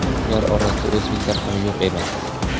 ular orasida o‘zbeklar ham yo‘q emas.